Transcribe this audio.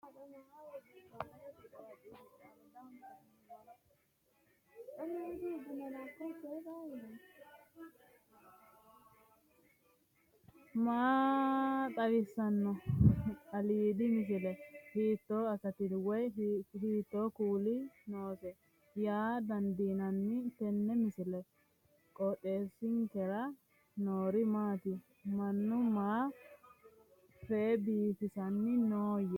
maa xawissanno aliidi misile ? hiitto akati woy kuuli noose yaa dandiinanni tenne misilera? qooxeessisera noori maati ? mannu maa fee biifisanni noohoyya